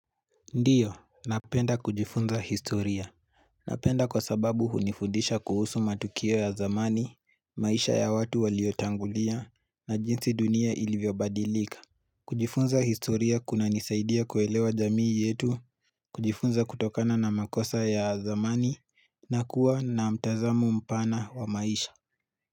Ndiyo, napenda kujifunza historia. Napenda kwa sababu hunifundisha kuhusu matukio ya zamani, maisha ya watu waliotangulia, na jinsi dunia ilivyobadilika. Kujifunza historia kuna nisaidia kuelewa jamii yetu, kujifunza kutokana na makosa ya zamani, na kuwa na mtazamo mpana wa maisha.